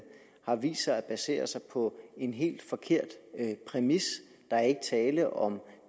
har vist sig at basere sig på en helt forkert præmis der er ikke tale om